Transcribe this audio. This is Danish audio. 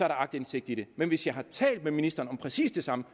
aktindsigt i det men hvis jeg har talt med ministeren om præcis det samme